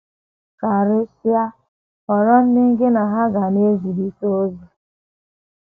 Karịsịa, họrọ ndị gị na ha ga na - ezirịta ozi.